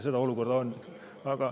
Sellist olukorda on.